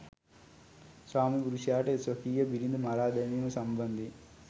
ස්වාමි පුරුෂයාට ස්වකීය බිරිඳ මරා දැමීම සම්බන්ධයෙන්